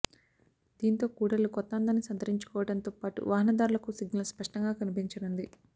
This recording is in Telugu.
దీంతో కూడళ్లు కొత్త అందాన్ని సంతరించుకోవడంతో పాటు వాహనదారులకు సిగ్నల్ స్పష్టంగా కనిపించనుంది